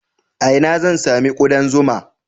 A ina zan sami ƙudan zuma?